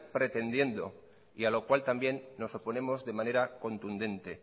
pretendiendo y a lo cual también nos oponemos de manera contundente